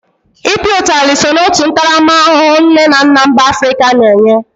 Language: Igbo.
I pịa utali so n'otu ntaramahụhụ nne na nna mba Afrịka na-enye.